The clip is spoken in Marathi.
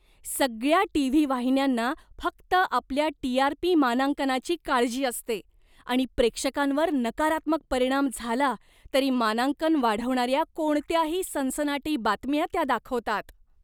सगळ्या टी.व्ही. वाहिन्यांना फक्त आपल्या टी.आर.पी. मानांकनाची काळजी असते आणि प्रेक्षकांवर नकारात्मक परिणाम झाला तरी मानांकन वाढवणाऱ्या कोणत्याही सनसनाटी बातम्या त्या दाखवतात.